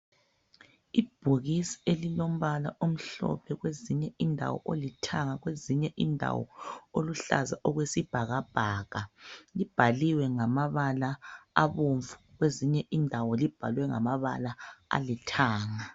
Ibhokisi elilombala omhlophe kwezinye indawo olithanga kwezinye indawo oluhlaza okwesibhakabhaka libhaliwe ngamabala abomvu kwezinye indawo limbalwe ngamabala alithanga.